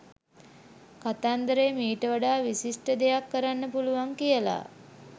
කතන්දරට මීට වඩා විශිෂ්ඨ දෙයක් කරන්න පුලුවන් කියලා